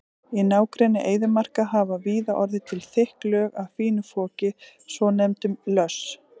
Í nágrenni eyðimarka hafa víða orðið til þykk lög af fínu foki, svonefndum löss.